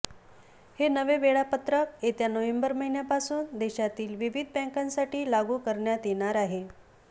हे नवे वेळापत्रक येत्या नोव्हेंबर महिन्यापासून देशातील विविध बँकांसाठी लागू करण्यात येणार आहे